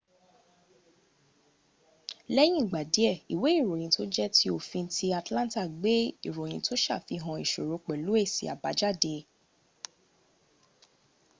leyin igba die iwe iroyin to je ti ofin ti atlanta gbe iroyinto safihan isoro pelu esi abajade